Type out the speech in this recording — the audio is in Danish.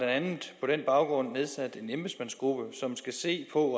andet på den baggrund nedsat en embedsmandsgruppe som skal se på